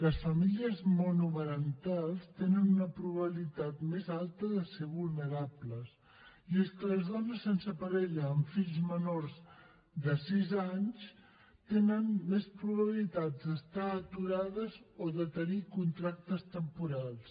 les famílies monomarentals tenen una probabilitat més alta de ser vulnerables i és que les dones sense parella amb fills menors de sis anys tenen més probabilitats d’estar aturades o de tenir contractes temporals